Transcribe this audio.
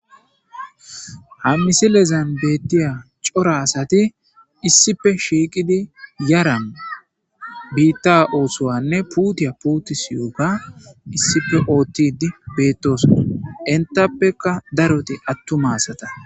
hammisilezan bettiya cora asati issife shiiqidi yaran biitta oosowanne puutiya puuti siyuga issife oottidi bettosa entappeka daroti attumaasata